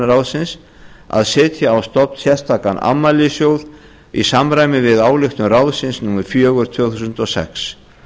ráðsins að setja á stofn sérstakan afmælissjóð í samræmi við ályktun ráðsins númer fjögur tvö þúsund og sex